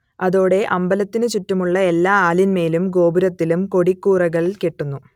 അതോടെ അമ്പലത്തിനു ചുറ്റുമുള്ള എല്ലാ ആലിന്മേലും ഗോപുരത്തിലും കൊടിക്കൂറകൾ കെട്ടുന്നു